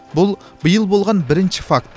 бұл биыл болған бірінші факт